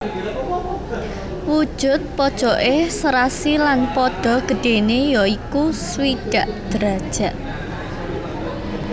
Wujud pojoké serasi lan padha gedhéné ya iku swidak derajat